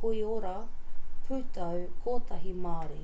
koiora pūtau-kotahi māori